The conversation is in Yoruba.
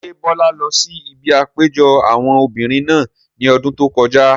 Ṣé Bọ́lá lọ sí ibi àpéjọpọ̀ àwọn obìrin náà ní ọdún tó kọjá?